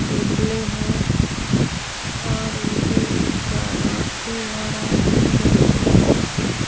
टेबलें है और इनके ऊपर औरतें और आदमी बैठे हैं।